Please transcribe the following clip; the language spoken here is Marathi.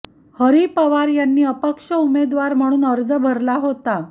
हरि पवार यांनी अपक्ष उमेदवार म्हणून अर्ज भरला होता